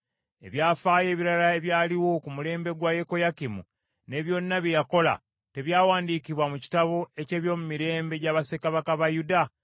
Ebyafaayo ebirala ebyaliwo ku mulembe gwa Yekoyakimu ne byonna bye yakola, tebyawandiikibwa mu kitabo eky’ebyomumirembe gya bassekabaka ba Yuda?